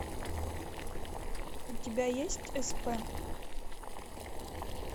у тебя есть сп